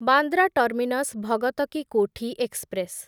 Bandra terminus Bhagat ki Kothi express